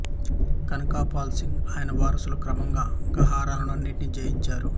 కనకపాల్ సింగ్ ఆయన వారసులు క్రమంగా గర్హాలను అన్నింటినీ జయించారు